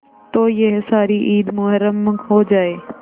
तो यह सारी ईद मुहर्रम हो जाए